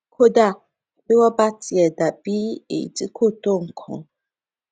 kódà bí wón bá tiè dà bí èyí tí kò tó nǹkan